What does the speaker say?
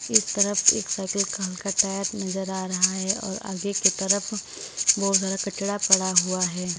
इस तरफ एक साइकिल का हल्का टायर नजर आ रहा है और आगे की तरफ बहुत सारा कचड़ा पड़ा हुआ है।